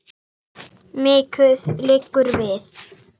En hvað eru kol?